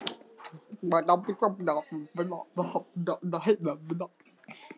Við heimsækjum Lúlla á morgun og þá verður engin miskunn.